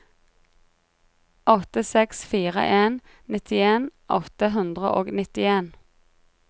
åtte seks fire en nittien åtte hundre og nittien